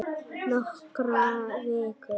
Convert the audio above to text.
Nokkrar vikur!